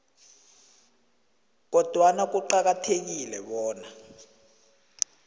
kodwana kuqakathekile bona